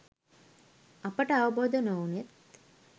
අපට අවබෝධ නොවුණෙත්